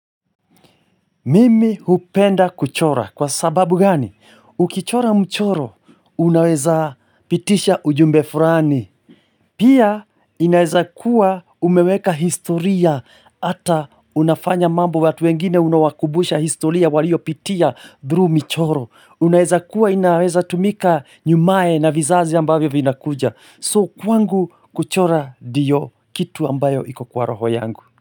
Mimi hupenda kuchora kwa sababu gani? Ukichora mchoro unaweza pitisha ujumbe fulani. Pia inaweza kuwa umeweka historia ata unafanya mambo watu wengine unawakumbusha historia waliopitia through michoro. Unaweza kuwa inaweza tumika nyumae na vizazi ambavyo vinakuja. So kwangu kuchora ndio kitu ambayo iko kwa roho yangu.